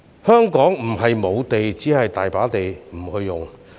香港並非沒有土地，只是有地不用。